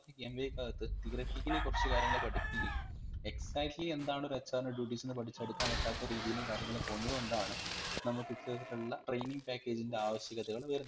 MBA കാകത്ത് theoritically കുറച്ചു കാര്യങ്ങളെ പഠിക്കുന്നുള്ളു exactly എന്താണ് ഒരു HR ഇൻറെ duties ന്ന് പഠിച്ചെടുക്കാൻ പറ്റാത്ത രീതിയിൽ കാര്യങ്ങൾ പോകുന്നത് കൊണ്ടാണ് നമ്മക് ഇത്തരത്തിലുള്ള training package ഇൻറെ ആവശ്യകതകൾ വരുന്നത്